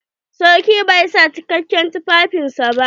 Sarki bai sa cikakken tufafin sa ba.